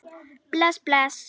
Bless, bless.